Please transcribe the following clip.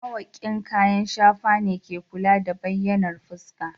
Mawaƙin kayan shafa ne ke kula da bayyanar fuska.